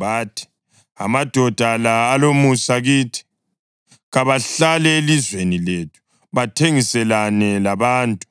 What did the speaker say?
Bathi, “Amadoda la alomusa kithi. Kabahlale elizweni lethu bathengiselane labantu;